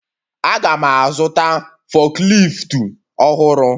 Aga'm azụta fukleeftu ọhụrụ